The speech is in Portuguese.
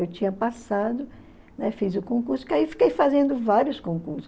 Eu tinha passado, né, fiz o concurso, que aí eu fiquei fazendo vários concursos.